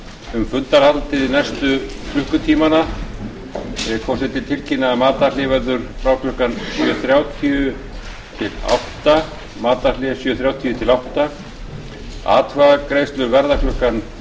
um fundarhald næstu klukkutímana vill forseti tilkynna að matarhlé verður frá klukkan sjö þrjátíu til áttunda atkvæðagreiðslur verða klukkan